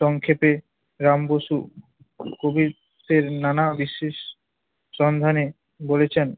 সংক্ষেপে রাম বসু কবিত্বের নানা বিশেষ সন্ধানে বলেছেন